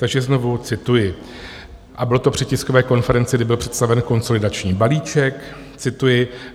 Takže znovu cituji, a bylo to při tiskové konferenci, kdy byl představen konsolidační balíček, cituji: